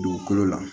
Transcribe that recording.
Dugukolo la